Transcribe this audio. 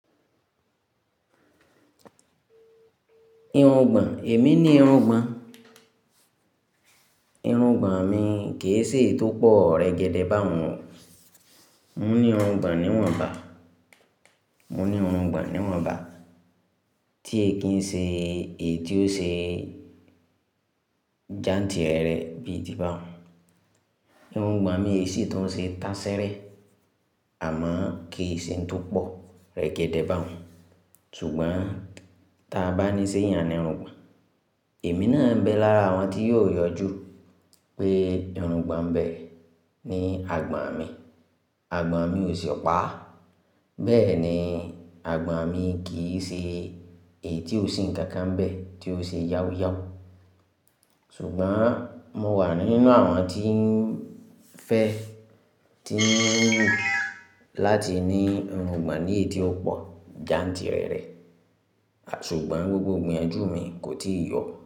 Irun gbọ̀n, èmi ni irun gbọ̀n. Irun gbọ̀n mi kì í ṣe tó pọ̀ rẹ̀gẹ̀dẹ̀ bá wọn. Mo ní irun gbọ̀n níwọ̀nba, mo ní irun gbọ̀n níwọ̀nba tí èkín ṣe èyí tí ó ṣe jántìrẹrẹ bí i ti bá wọn. Irun gbọ̀n mi kì í ṣe tó ṣe táṣẹ́rẹ́ àmọ́ kì í ṣe tó pọ̀ rẹ̀gẹ̀dẹ̀ bá wọn. Ṣùgbọ́n ta bá níṣe yàn ni irun gbọ̀n, èmi náà ń bẹ lára àwọn tí yó yọjú pé irun gbọ̀n bẹ ni àgbọ̀n mi. Àgbọ̀n mi ò ṣe ọ̀pá, bẹ́ẹ̀ ni àgbọ̀n mi kì í ṣe èyí tí ó sì ń kankan bẹ́ tí ó ṣe yáwúyáwù. Ṣùgbọ́n mo wà nínú àwọn tí ń fẹ́, tí ń láti ní irun gbọ̀n ní èyí tí ó pọ̀ jántìrẹrẹ, ṣùgbọ́n gbogbo ìgbiyànjú mi kò tíì yọ.